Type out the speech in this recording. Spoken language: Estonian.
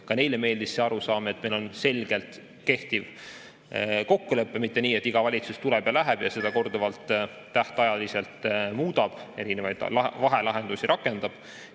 Ka neile meeldis see arusaam, et meil on selgelt kehtiv kokkulepe, mitte nii, et iga valitsus tuleb ja läheb ning seda korduvalt tähtajaliselt muudab ja erinevaid vahelahendusi rakendab.